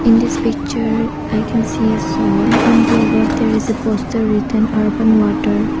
In this picture I can see a shop and in the above there is a poster written urban water.